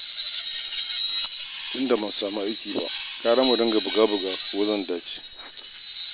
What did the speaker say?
Tunda ban samu aiki ba, gara mu dinga buga-buga ko zan dace